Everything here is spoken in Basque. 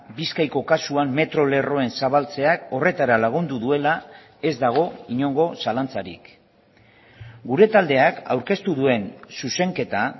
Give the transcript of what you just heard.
bizkaiko kasuan metro lerroen zabaltzeak horretara lagundu duela ez dago inongo zalantzarik gure taldeak aurkeztu duen zuzenketa